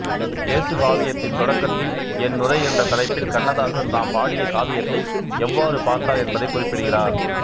இயேசு காவியத்தின் தொடக்கத்தில் என்னுரை என்ற தலைப்பில் கண்ணதாசன் தாம் பாடிய காவியத்தை எவ்வாறு பார்த்தார் என்பதைக் குறிப்பிடுகிறார்